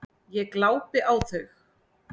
Ég glápi á þau.